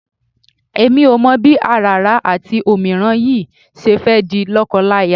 Èmi ò mọ̀ bí àràrá àti òmíràn yìí ṣe fẹ́ di lọ́kọláya.